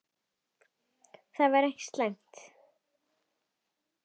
Það væri ekki slæmt.